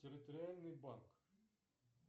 территориальный банк